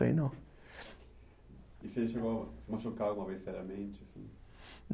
Aí não. E você chegou a se machucar alguma vez seriamente assim?